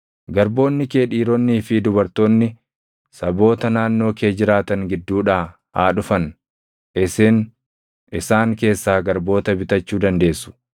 “ ‘Garboonni kee dhiironnii fi dubartoonni saboota naannoo kee jiraatan gidduudhaa haa dhufan; isin isaan keessaa garboota bitachuu dandeessu.